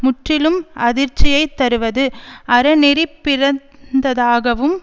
முற்றிலும் அதிர்ச்சியைத் தருவதும் அறநெறிபிறழ்ந்ததாகவும்